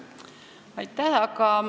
Aitäh!